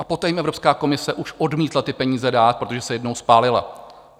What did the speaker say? A poté jim Evropská komise už odmítla ty peníze dát, protože se jednou spálila.